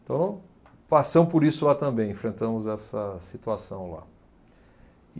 Então, passamos por isso lá também, enfrentamos essa situação lá.